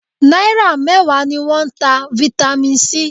Náírà mẹ́wàá ni wọ́n ń ta Vitamin C